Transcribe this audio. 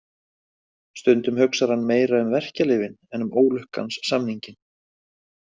Stundum hugsar hann meira um verkjalyfin en um ólukkans samninginn.